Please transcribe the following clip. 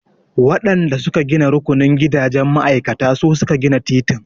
Waɗan da su ka gina rukunin gidajen ma'aikata su suka gina titin.